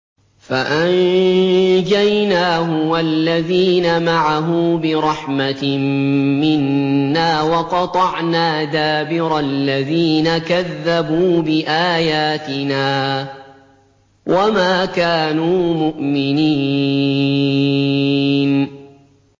فَأَنجَيْنَاهُ وَالَّذِينَ مَعَهُ بِرَحْمَةٍ مِّنَّا وَقَطَعْنَا دَابِرَ الَّذِينَ كَذَّبُوا بِآيَاتِنَا ۖ وَمَا كَانُوا مُؤْمِنِينَ